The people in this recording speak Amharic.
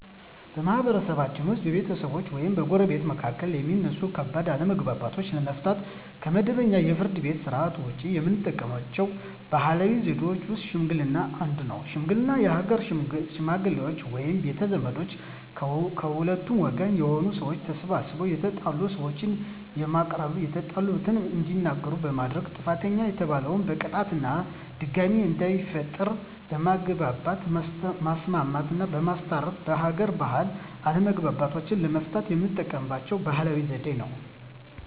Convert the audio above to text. በማህበረሰብችን ውስጥ በቤተሰቦች ወይም በጎረቤቶች መካከል የሚነሱ ከባድ አለመግባባቶችን ለመፍታት (ከመደበኛው የፍርድ ቤት ሥርዓት ውጪ) የምንጠቀምባቸው ባህላዊ ዘዴዎች ውስጥ ሽምግልና አንዱ ነው። ሽምግልና የሀገር ሽመግሌዎች ወይም ቤተ ዘመዶች ከሁለቱም ወገን የሆኑ ሰዎች ተሰባስበው የተጣሉ ሰዎችን በማቀራረብ የተጣሉበትን እንዲናገሩ በማድረግ ጥፋተኛ የተባለን በቅጣት እና ድጋሜ እንዳይፈጠር በማግባባት ማስማማትና በማስታረቅ በሀገር ባህል አለመግባባቶችን ለመፍታት የምንጠቀምበት ባህላዊ ዘዴ ነው።